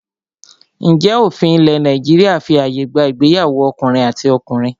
Ǹjẹ́ òfin ilẹ̀ Nàìjíríà fí ààyè gba ìgbéyàwó ọkùnrin àti ọkùnrin?